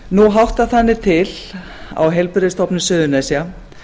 nú háttar þannig til á heilbrigðisstofnun suðurnesja